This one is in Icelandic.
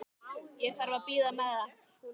Ég þarf að bíða með það.